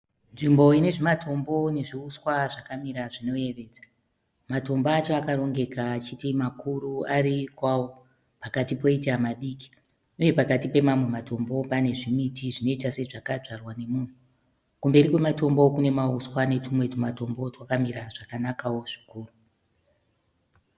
Nzvimbo ine zvimatombo nezvi uswa zvakamira zvinoyevedza. Matombo acho akarongeka achiti makuru ari kwawo pakati poita madiki uye pakati pemamwe matombo pane zvimiti zvinoita sezvakadyarwa nomunhu. Kumberi kwematombo kune mauswa netumwe twumatombo twakamira zvakanakawo kwazvo.